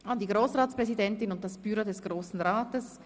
An die Grossratspräsidentin und das Büro des Grossen Rates.